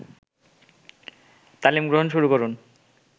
তালিম গ্রহণ শুরু করেন